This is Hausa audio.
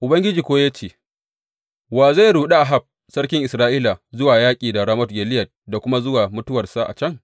Ubangiji kuwa ya ce, Wa zai ruɗe Ahab sarki Isra’ila zuwa yaƙi da Ramot Gileyad da kuma zuwa mutuwarsa a can?’